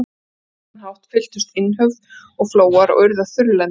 Á þennan hátt fylltust innhöf og flóar og urðu að þurrlendum.